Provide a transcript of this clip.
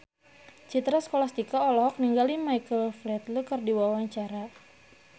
Citra Scholastika olohok ningali Michael Flatley keur diwawancara